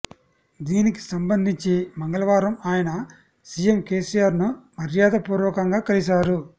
దీనికి సంబంధించి మంగళవారం ఆయన సీఎం కేసీఆర్ ను మర్యాదపూర్వకంగా కలిశారు